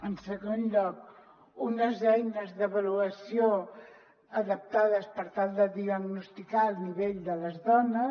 en segon lloc unes eines d’avaluació adaptades per tal de diagnosticar el nivell de les dones